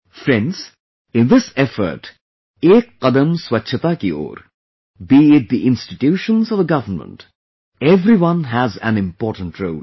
Friends, in this effort 'Ek qadam swachhata ki ore' , be it the institutions or the government, everyone has an important role